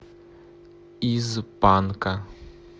из панка